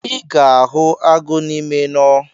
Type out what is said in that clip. I ga-ahụ agụ n’ime nọ